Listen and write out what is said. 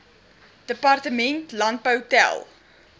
departement landbou tel